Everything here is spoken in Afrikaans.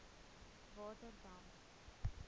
waterdam